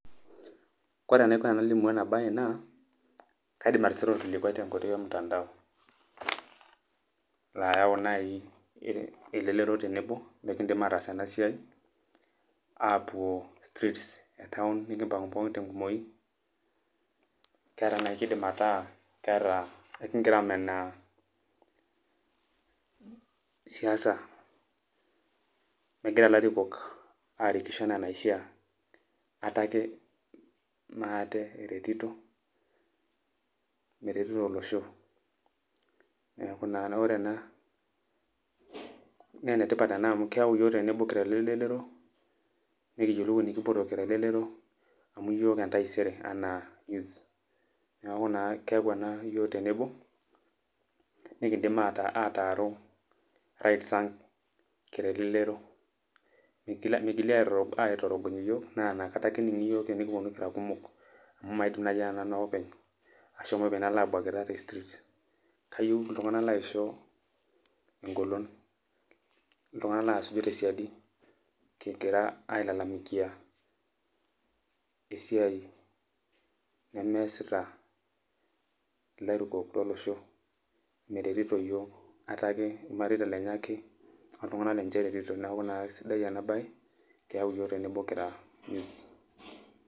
Kore enaiko enalimu enabae naa, kaidim atisira orkilikwai tenkoitoi omtandao. Layau nai elelero tenebo, likidim ataas enasiai, apuo streets etaon, nikimpang'u pookin tenkumoyu, keeta nai kiidim ataa keeta, ekigira amenaa siasa megira larikok arikisho enaa enaishaa. Ate ake maate eretito, meretito olosho. Neeku naa ore ena, ne enetipat ena amu keeu yiok tenebo kira lelelero, nikiyie enikipoito kira elelero, amu yiok entaisere enaa youths. Neeku naa keeu ena yiok tenebo, nikidim ataaru rights ang' kira elelero. Migili aitorogony iyiok, na nakata ake ening'i yiok tenikiponu kira kumok, amu maidim nai ananu ake openy, ashomo openy nalo abuakita te streets. Kayieu iltung'anak laisho egolon. Iltung'anak lasuju tesiadi egira ailalamikia esiai nemeesita ilarikok lolosho, meretito iyiok, ate ake, irmareita lenye ake, oltung'anak lenche ake eretito. Neeku naa kesidai enabae, keeu yiok tenebo kira youths.